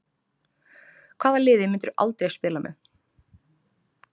Hvaða liði myndirðu aldrei spila með?